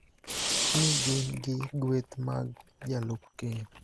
ni gin gi gueth mag jalup Ker